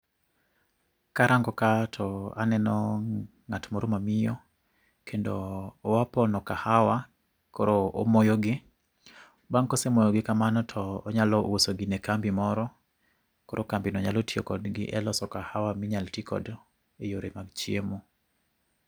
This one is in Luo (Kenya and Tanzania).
Karang'o kaa to aneno ng'at moro ma miyo kendo oa pono kahawa koro omoyogi, bang' kosemoyo gi kamano to onyalo uso ne kambi moroto kambi no nyalo tiyo kodgi e loso kahawa minyalo ti godo e yore mag chiemo.